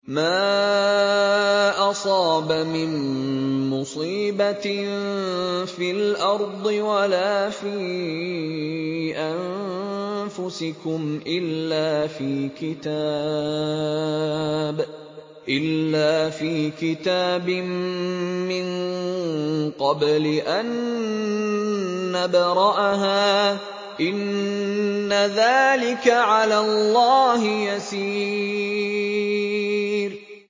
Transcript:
مَا أَصَابَ مِن مُّصِيبَةٍ فِي الْأَرْضِ وَلَا فِي أَنفُسِكُمْ إِلَّا فِي كِتَابٍ مِّن قَبْلِ أَن نَّبْرَأَهَا ۚ إِنَّ ذَٰلِكَ عَلَى اللَّهِ يَسِيرٌ